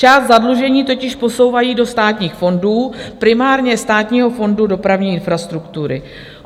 Část zadlužení totiž posouvají do státních fondů, primárně Státního fondu dopravní infrastruktury.